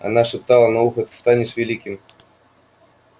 она шептала на ухо ты станешь великим